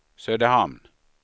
Söderhamn